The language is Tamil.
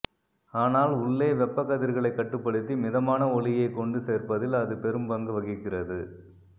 ஆனால் உள்ளே வெப்பக்கதிர்களைக் கட்டுப்படுத்தி மிதமான ஒளியைக் கொண்டுசேர்ப்பதில் அது பெரும்பங்கு வகிக்கிறது